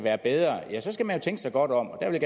er bedre skal man jo tænke sig godt om og der vil